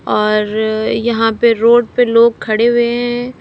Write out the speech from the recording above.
और यहां पे रोड पे लोग खड़े हुए हैं।